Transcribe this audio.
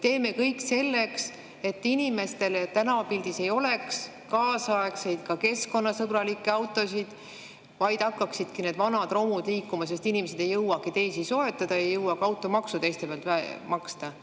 Teeme kõik selleks, et inimestel tänavapildis ei oleks kaasaegseid ja ka keskkonnasõbralikke autosid, vaid hakkaksidki need vanad romud liikuma, sest inimesed ei jõua teisi soetada, ei jõua ka automaksu teiste pealt maksta.